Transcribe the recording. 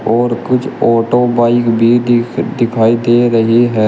और कुछ auto bike भी दिख दिखाई दे रही है।